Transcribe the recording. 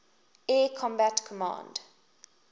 air combat command